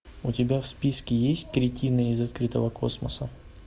у тебя в списке есть кретины из открытого космоса